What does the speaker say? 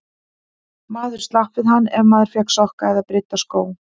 Maður slapp við hann ef maður fékk sokka eða brydda skó.